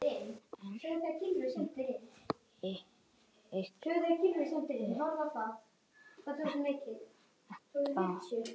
Enda liggur ekkert á.